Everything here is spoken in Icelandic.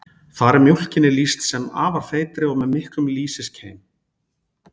þar er mjólkinni lýst sem afar feitri og með miklum lýsiskeim